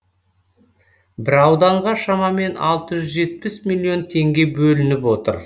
бір ауданға шамамен алты жүз жетпіс миллион теңге бөлініп отыр